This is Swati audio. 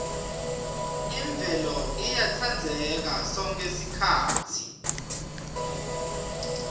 imvelo iyatsandzeka sonkhe sikhatsi